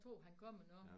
Jeg tror han kommer nu